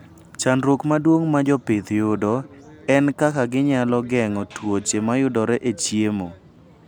Chandruok maduong' ma jopith yudo en kaka ginyalo geng'o tuoche mayudore e chiemo.